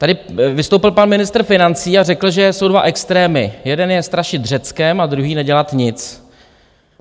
Tady vystoupil pan ministr financí a řekl, že jsou dva extrémy: jeden je strašit Řeckem a druhý nedělat nic.